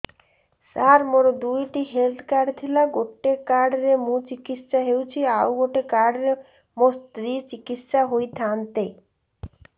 ସାର ମୋର ଦୁଇଟି health card ଥିଲା ଗୋଟେ କାର୍ଡ ରେ ମୁଁ ଚିକିତ୍ସା ହେଉଛି ଆଉ ଗୋଟେ କାର୍ଡ ରେ ମୋ ସ୍ତ୍ରୀ ଚିକିତ୍ସା ହୋଇଥାନ୍ତେ